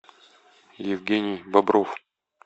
евгений бобров